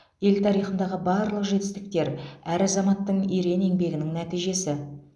ел тарихындағы барлық жетістіктер әр азаматтың ерен еңбегінің нәтижесі